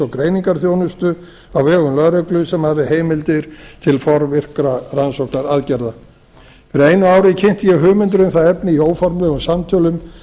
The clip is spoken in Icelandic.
og greiningarþjónustu á vegum lögreglu sem hafi heimildir til forvirkra rannsóknaraðgerða fyrir einu ári kynnti ég hugmyndir um það efni í óformlegum samtölum við